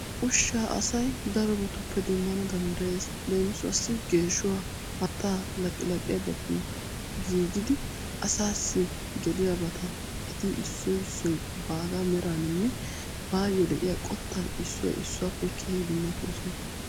Ushsha asay darobbatuppe demmana danddayees. Lemissuwassi geeshshuwa, haatta, laqqilaqqiyabatuni giiggidi asasi geliyaabata etti issoy issoy baga meraninne bayo de'iya qottan issoy issuwappe keehi dummattoosona.